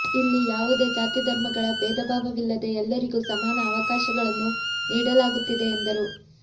ಇಲ್ಲಿ ಯಾವುದೇ ಜಾತಿ ಧರ್ಮಗಳ ಬೇಧ ಭಾವವಿಲ್ಲದೆ ಎಲ್ಲರಿಗೂ ಸಮಾನ ಅವಕಾಶಗಳನ್ನು ನೀಡಲಾಗುತ್ತಿದೆ ಎಂದರು